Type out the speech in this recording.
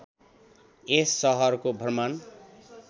यस सहरको भ्रमण